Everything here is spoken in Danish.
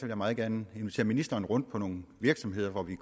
jeg meget gerne invitere ministeren rundt på nogle virksomheder hvor vi